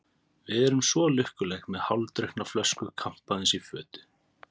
Við erum svo lukkuleg, með hálfdrukkna flösku kampavíns í fötu.